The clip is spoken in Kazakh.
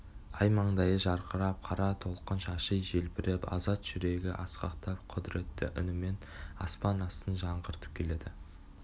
ай маңдайы жарқырап қара толқын шашы желбіреп азат жүрегі асқақтап құдіретті үнімен аспан астын жаңғыртып келеді